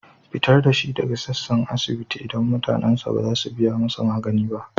Fitar da shi daga sassan asibiti, idan mutanensa ba za su biya masa magani ba.